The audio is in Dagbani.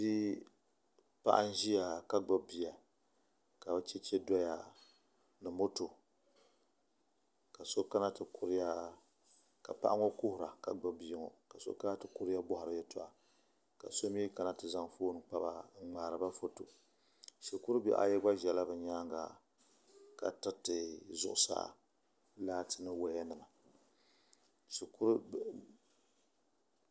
Paɣa n ʒiya ka gbubi bia ka chɛchɛ doya ni moto ka so kana ti kuhura ka paɣa ŋo ʒiya ka so kana ti kuriya n boharo yɛltɔɣa ka so ŋmaariba foto shikuru bihi ayi gba ʒɛmi ka tiriti zuɣusaa laati ni woya nima